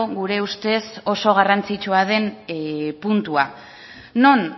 gure ustez oso garrantzitsua den puntua non